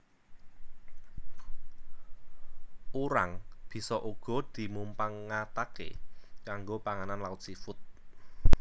Urang bisa uga dimumpangataké kanggo panganan laut seafood